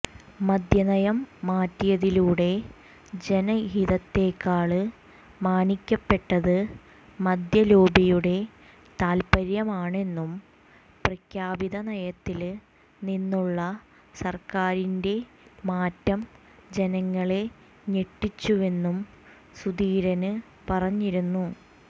മദ്യനയം മാറ്റിയതിലൂടെ ജനഹിതത്തേക്കാള് മാനിക്കപ്പെട്ടത് മദ്യലോബിയുടെ താല്പ്പര്യമാണെന്നും പ്രഖ്യാപിത നയത്തില് നിന്നുള്ള സര്ക്കാരിന്റ മാറ്റം ജനങ്ങളെ ഞെട്ടിച്ചുവെന്നും സുധീരന് പറഞ്ഞിരുന്നു